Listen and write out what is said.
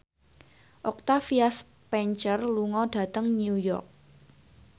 Octavia Spencer lunga dhateng New York